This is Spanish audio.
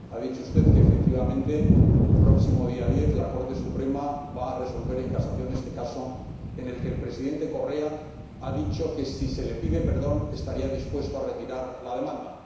Ha dicho usted que, efectivamente, el próximo día 10 la Corte Suprema va a resolver en casación este caso, en el que el Presidente Correa ha dicho que, si se le pide perdón, estaría dispuesto a retirar la demanda.